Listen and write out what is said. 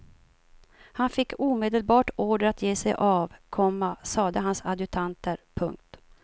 Han fick omedelbart order att ge sig av, komma sade hans adjutanter. punkt